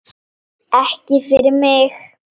Ekki fyrir mig!